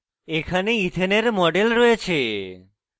ethane ইথেনের model রয়েছে